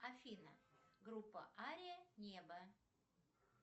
афина группа ария небо